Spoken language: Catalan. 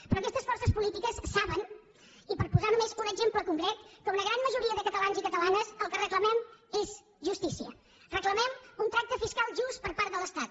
però aquestes forces polítiques saben i per posar només un exemple concret que una gran majoria de catalans i catalanes el que reclamem és justícia reclamem un tracte fiscal just per part de l’estat